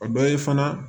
O dɔ ye fana